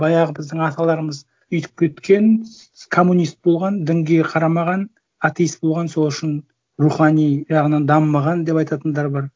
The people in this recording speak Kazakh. баяғы біздің аталарымыз өйтіп кеткен коммунист болған дінге қарамаған атеист болған сол үшін рухани жағынан дамымаған деп айтатындар бар